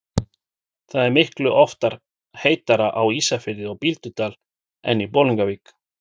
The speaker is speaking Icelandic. Það er miklu oftar heitara á Ísafirði og Bíldudal en í Bolungarvík.